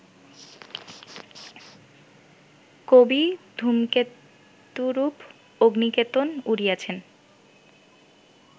কবি ধূমকেতুরূপ অগ্নিকেতন উড়িয়েছেন